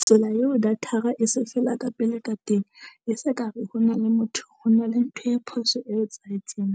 Tsela eo data-ra e se fela ka pele ka teng, e se ka re ho na le motho ho na le ntho e phoso e etsahetseng.